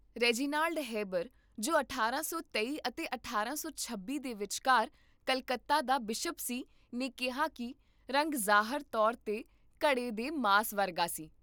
Reginald Heber, ਜੋ ਅਠਾਰਾਂ ਸੌ ਤੇਈ ਅਤੇ ਅਠਾਰਾਂ ਸੌ ਛੱਬੀ ਦੇ ਵਿਚਕਾਰ ਕਲਕੱਤਾ ਦਾ ਬਿਸ਼ਪ ਸੀ, ਨੇ ਕਿਹਾ ਕਿ ਰੰਗ ਜ਼ਾਹਰ ਤੌਰ 'ਤੇ ਘੜੇ ਦੇ ਮਾਸ ਵਰਗਾ ਸੀ